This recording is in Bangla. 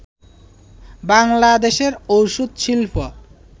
বাংলাদেশের ঔষধ শিল্প